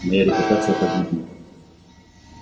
моя репутация погибнет